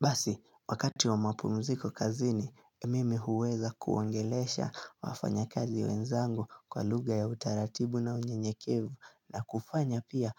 Basi, wakati wa mapumziko kazini, mimi huweza kuongelesha wafanya kazi wenzangu kwa lugha ya utaratibu na unyenyekevu na kufanya pia